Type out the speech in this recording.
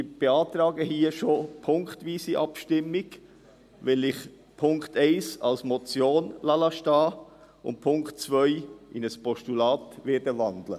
Ich beantrage punktweise Abstimmung, weil ich Punkt 1 als Motion stehen lasse und Punkt 2 in ein Postulat wandeln werde.